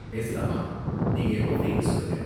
பேசலாமா? நீங்க எப்ப ஃப்ரீனு சொல்லுங்க.